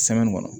kɔnɔ